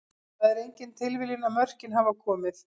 Það er engin tilviljun að mörkin hafa komið.